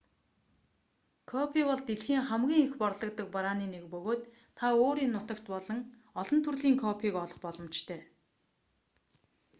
кофе бол дэлхийд хамгийн их борлогддог барааны нэг бөгөөд та өөрийн нутагт олон төрлийн кофег олох боломжтой